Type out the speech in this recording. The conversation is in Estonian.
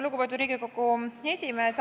Lugupeetud Riigikogu esimees!